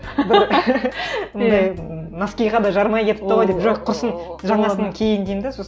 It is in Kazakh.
бір анандай носкиге да жарамай кетіпті ғой деп жоқ құрысын жаңасын киейін деймін де сосын